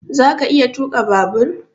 Zaka iya tuka babur?